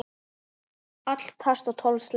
Allir pass og tólf slagir.